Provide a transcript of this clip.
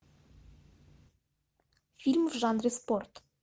фильм в жанре спорт